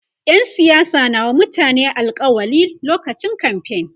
ƴan siyasa na wa mutane alkawali lokacin kamfain